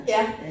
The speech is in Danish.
Ja